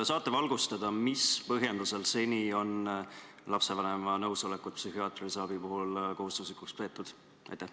Kas saate valgustada, mis põhjendusel on seni lapsevanema nõusolekut psühhiaatrilise abi puhul kohustuslikuks peetud?